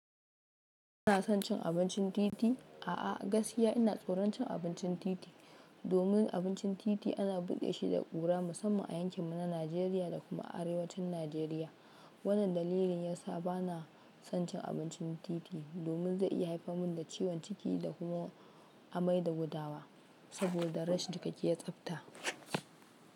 Kana son cin abincin titi? A'a, gaskiya ina tsoron cin abincin titi, domin abincin titi ana buɗe shi da ƙura musamman a yankin mu na Najeriya da kuma arewacin Najeriya. Wannan dalilin yasa bana son cin abincin titi domin zai iya haifar mun da ciwon ciki da kuma amai da gudawa, saboda rashin cikakken tsafta.